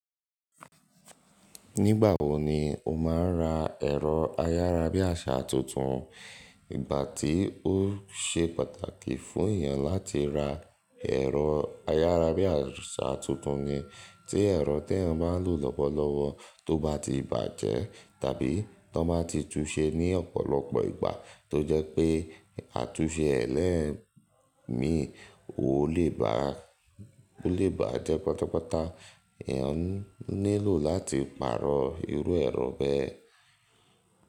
Nígbà wo ni o máa ń ra ẹ̀rọ ayárabíàṣá tuntun? Ìgbà tí ó ṣe pàtàkì fún èèyàn láti ra ẹ̀rọ ayárabíàṣá tuntun ni tí ẹ̀rọ tí wọ́n máa ń lò lọ́wọ́lọ́wọ́ tó bá ti bàjẹ́ tàbí tó bá ti túúse ní ọ̀pọ̀lọpọ̀ ìgbà tó jẹ́ pé àtúnṣe ẹlẹ́ẹ̀mí ò lè bàjẹ́ pátápátá, èèyàn nílò láti pààrọ̀ irú ẹ̀rọ bẹ́ẹ̀.